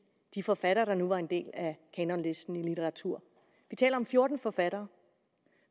de forfattere der nu var en del af kanonlisten i litteratur vi taler om fjorten forfattere